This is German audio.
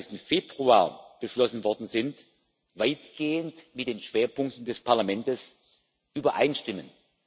21. Februar beschlossen worden sind, weitgehend mit den Schwerpunkten des Parlaments übereinstimmen.